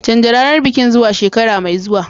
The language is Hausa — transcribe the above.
Canja ranar bikin zuwa shekara mai zuwa.